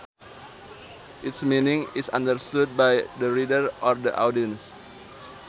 Its meaning is understood by the reader or the audience